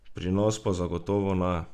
Pri nas pa zagotovo ne!